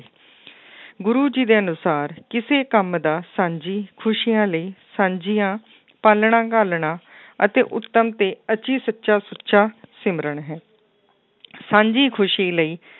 ਗੁਰੂ ਜੀ ਦੇ ਅਨੁਸਾਰ ਕਿਸੇ ਕੰਮ ਦਾ ਸਾਂਝੀ ਖ਼ੁਸ਼ੀਆਂ ਲਈ ਸਾਂਝੀਆਂ ਪਾਲਣਾ ਘਾਲਣਾ ਅਤੇ ਉੱਤਮ ਤੇ ਅਤੀ ਸੱਚਾ ਸੁੱਚਾ ਸਿਮਰਨ ਹੈ ਸਾਂਝੀ ਖ਼ੁਸ਼ੀ ਲਈ,